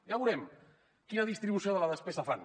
ja veurem quina distribució de la despesa fan